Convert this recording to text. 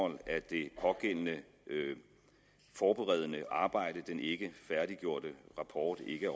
at det pågældende forberedende arbejde den ikke færdiggjorte rapport ikke